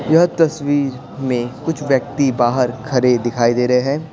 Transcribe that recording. यह तस्वीर में कुछ व्यक्ति बाहर खड़े दिखाई दे रहे हैं।